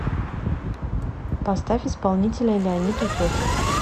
поставь исполнителя леонид утесов